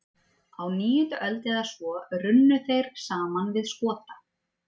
Á níundu öld eða svo runnu þeir saman við Skota.